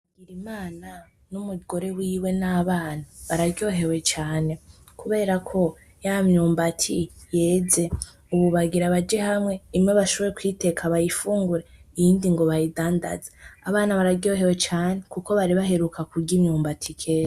Bigirimana n'umugore wiwe n'abana bararyohewe cane kuberako ya myumbati yeze ubu bagira baje hamwe imwe bashobore kuyiteka bayifungure iyindi ngo bayidandaze abana bararyohewe cane kuko bari baheruka kurya imyumbati kera.